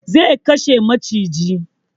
Zai kashe maciji